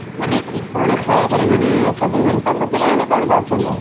ମାନେ ସିଏ କଣ ଖେଳା ଖେଳି ମାନେ ସବୁ ମାନେ ତମ ପିଲାମାନେ କଣ କରୁଛନ୍ତି ଆଉ ?